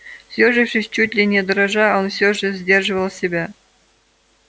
съёжившись чуть ли не дрожа он все же сдерживал себя